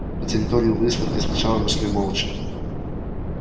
по территории выставки сначала мы шли молча